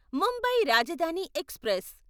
Mumbai Rajdhani express